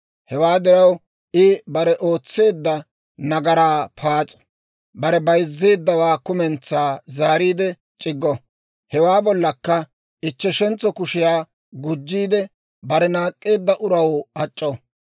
Hewaa diraw, I bare ootseedda nagaraa paas'o; bare bayzzeeddawaa kumentsaa zaariide c'iggo; hewaa bollakka ichcheshentso kushiyaa gujjiide, bare naak'k'eedda uraw ac'c'o.